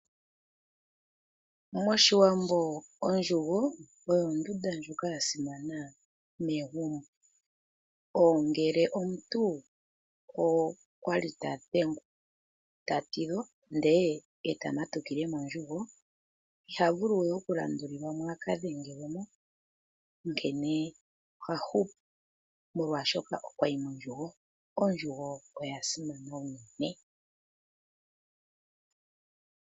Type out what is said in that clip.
Moshiwambo ondjugo oyo ondunda ya simana megumbo, ngele omuntu okwali tadhengwa, ta tidhwa ndele eta matukile mondjugo iha vulu we okulandulilwa mo a ka dhengelwe mo, onkene oha hupu molwaashoka okwayi mondjugo. Ondjugo oya simana unene.